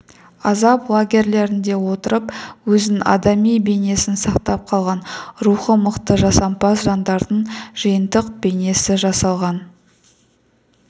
азап лагерлерінде отырып өзінің адами бейнесін сақтап қалған рухы мықты жасампаз жандардың жиынтық бейнесі жасалған